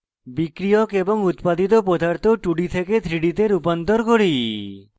বিক্রিয়ক এবং উত্পাদিত পদার্থ 2d থেকে 3d তে রূপান্তর করি